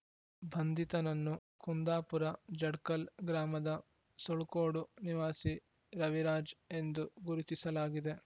ಬಂಧಿತನನ್ನು ಕುಂದಾಪುರ ಜಡ್ಕಲ್ ಗ್ರಾಮದ ಸುಳ್ಕೋಡು ನಿವಾಸಿ ರವಿರಾಜ್ ಎಂದು ಗುರುತಿಸಲಾಗಿದೆ